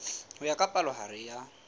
ho ya ka palohare ya